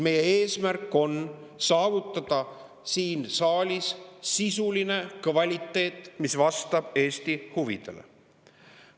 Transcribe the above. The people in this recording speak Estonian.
Meie eesmärk on saavutada siin saalis sisuline kvaliteet, mis vastab Eesti huvidele.